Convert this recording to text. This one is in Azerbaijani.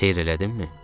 Seyr elədinmi?